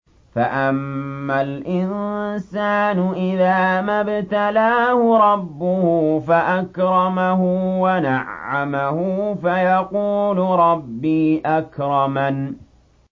فَأَمَّا الْإِنسَانُ إِذَا مَا ابْتَلَاهُ رَبُّهُ فَأَكْرَمَهُ وَنَعَّمَهُ فَيَقُولُ رَبِّي أَكْرَمَنِ